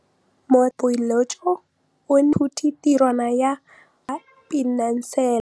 Motlhatlhaledi wa baeloji o neela baithuti tirwana ya mosola wa peniselene.